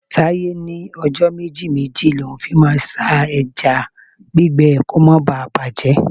Taiye ní ọjọ́ méjì-méjì l'oun fi máa ń sá ẹja gbígbẹ kó má bà bàjẹ́.